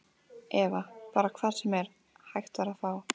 Eva: Bara hvar sem er, hægt var að fá?